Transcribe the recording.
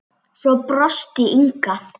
Svo brosti Inga.